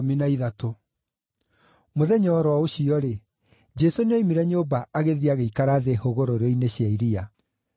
Mũthenya o ro ũcio-rĩ, Jesũ nĩoimire nyũmba agĩthiĩ agĩikara thĩ hũgũrũrũ-inĩ cia iria.